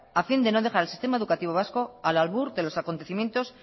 a fin de no dejar el sistema educativo vasco al albur de los acontecimiento